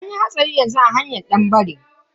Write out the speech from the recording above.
Anyi hatsari yanzu a hanyar danbare.